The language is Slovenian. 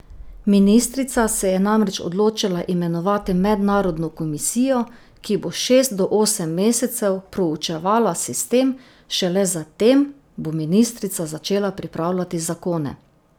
Ministrica se je namreč odločila imenovati mednarodno komisijo, ki bo šest do osem mesecev proučevala sistem, šele za tem bo ministrica začela pripravljati zakone.